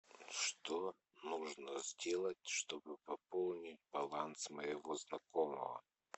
что нужно сделать чтобы пополнить баланс моего знакомого